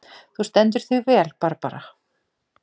Þú stendur þig vel, Barbara!